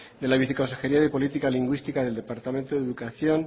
de la viceconsejería de política lingüística del departamento de educación